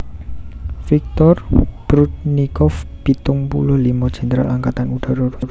Viktor Prudnikov pitung puluh limo Jèndral Angkatan Udara Rusia